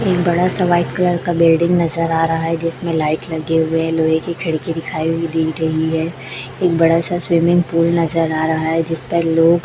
एक बड़ा सा व्हाइट कलर का बिल्डिंग नजर आ रहा है जिसमें लाइट लगे हुए हैं लोहे की खिड़की दिखाई हुई दे रही है एक बड़ा सा स्विमिंग पूल नजर आ रहा है जिस पर लोग--